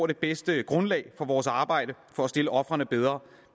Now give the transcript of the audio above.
det bedste grundlag for vores arbejde for at stille ofrene bedre